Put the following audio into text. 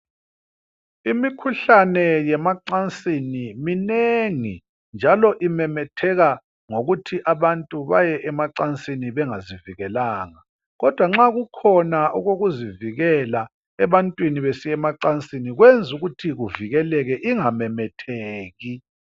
Imikhuhlane yemacansini minengi njalo imemetheka ngokuthi abantu baye emacansini bengazivikelanga. Kodwa nxa kukhona okokuzivikela emacansini kwenza ukuthi ivikeleke ingamemetheki.